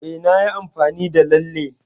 E, nayi amfani da Lalle.